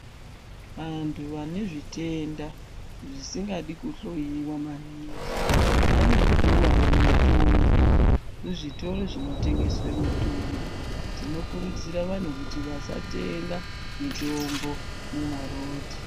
Vantu vanezvitenda zvisingadi kuhloiwa maningi vanopuwawo mitombo kuzvitoro zvinotengeswa mitombo tinokurudzira vantu kuti vasatenga mitombo mumarodhi.